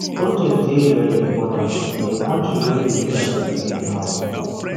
protest dey very important in a country wey di leaders dey do anyhow